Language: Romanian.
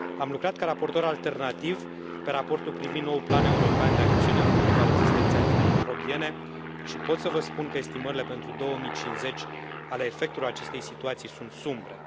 Am lucrat ca raportor alternativ pe raportul privind noul plan european de acțiune împotriva rezistenței antimicrobiene și pot să vă spun că estimările pentru 2050 ale efectelor acestei situații sunt sumbre.